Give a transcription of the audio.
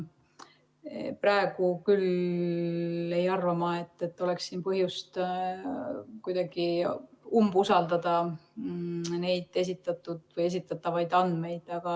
Nii et praegu ma küll ei arva, et oleks siin põhjust umbusaldada neid esitatud või esitatavaid andmeid.